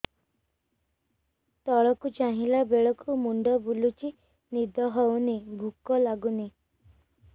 ତଳକୁ ଚାହିଁଲା ବେଳକୁ ମୁଣ୍ଡ ବୁଲୁଚି ନିଦ ହଉନି ଭୁକ ଲାଗୁନି